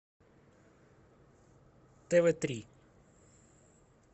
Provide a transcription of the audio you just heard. тв три